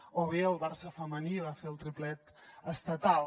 o bé el barça femení va fer el triplet estatal